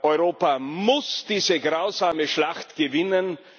Europa muss diese grausame Schlacht gewinnen.